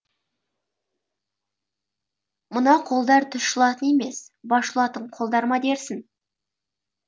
мына қолдар тіс жұлатын емес бас жұлатын қолдар ма дерсің